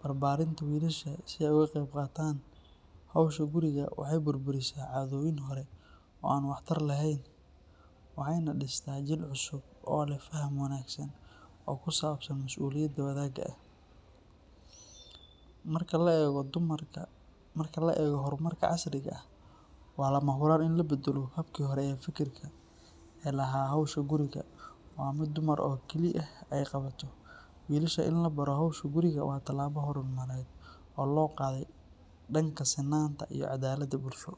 barbarinta wilasha si ay ogageb gataan howsha guriga waxay burburis cadoyin hore oo wax tar lehen, waxayna dista jiil cusub o leh fahan wanagsan, oo kisabsan masuliyada wanaga ah, marka laego hormarka casriga ah wa lamahuraan in labadao habki hore ee fikirka ee aha xowsha guriga wa mid dumar oo kaliya ay gawato, wilasha in labaro xowsha guriga wa talabo oo logade danka sinanta iyo cadalada bulsho.